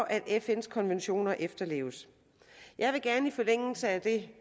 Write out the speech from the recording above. at fns konventioner efterleves i forlængelse af det